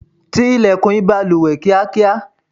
tí ilẹ̀kùn ìbalùwẹ̀ kíákíá